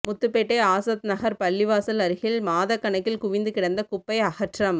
முத்துப்பேட்டை ஆசாத் நகர் பள்ளிவாசல் அருகில் மாதக்கணக்கில் குவிந்து கிடந்த குப்பை அகற்றம்